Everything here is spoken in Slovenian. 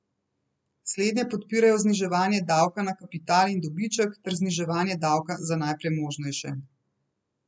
Slednje podpirajo zniževanje davka na kapital in dobiček ter zniževanje davka za najpremožnejše.